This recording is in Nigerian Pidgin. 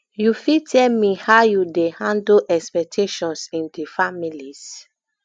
you fit tell me how you dey handle expectations in di families